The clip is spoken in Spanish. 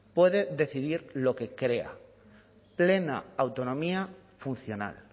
puede decidir lo que crea plena autonomía funcional